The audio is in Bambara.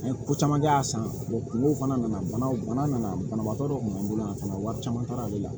An ye ko caman kɛ a san kungo fana nana bana nana banabagatɔ dɔ kun b'an bolo yan fana wari caman taara ale la